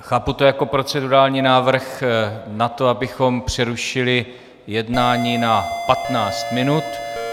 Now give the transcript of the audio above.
Chápu to jako procedurální návrh na to, abychom přerušili jednání na 15 minut.